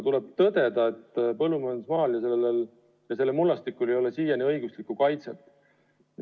Tuleb tõdeda, et põllumajandusmaal ja selle mullastikul ei ole siiani õiguslikku kaitset.